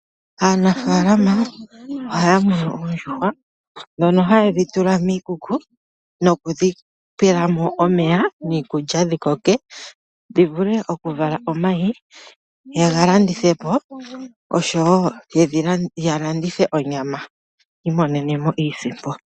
Aanafalama ohaya munu oondjuhwa ndhono haye dhitula miikuku nokudhi pelamo omeya niikulya dhikoke, dhivule okuvala omayi ye galandithepo, oshowo yalandithe onyama yiimonene iisimpo.